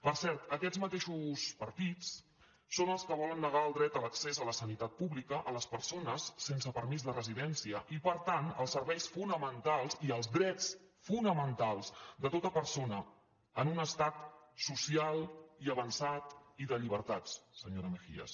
per cert aquests mateixos partits són els que volen negar el dret a l’accés a la sanitat pública a les persones sense permís de residència i per tant els serveis fonamentals i els drets fonamentals de tota persona en un estat social i avançat i de llibertats senyora mejías